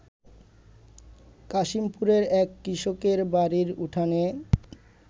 কাশিমপুরের এক কৃষকের বাড়ির উঠানে